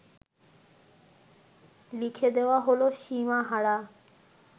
লিখে দেওয়া হল সীমাহারা